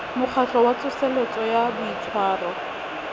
mokgatlo wa tsoseletso ya boitshwaro